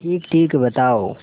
ठीकठीक बताओ